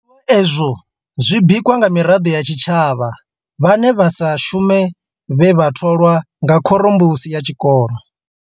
Zwiḽiwa izwo zwi bikwa nga miraḓo ya tshitshavha vhane vha sa shume vhe vha tholwaho nga khorombusi ya tshikolo SGB.